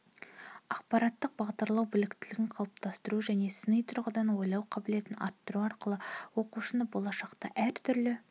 ақпараттық бағдарлау біліктілігін қалыптастыру және сыни тұрғыдан ойлау қабілетін арттыру арқылы оқушыны болашақта әртүрлі